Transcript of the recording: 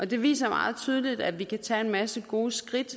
det viser meget tydeligt at vi selv kan tage en masse gode skridt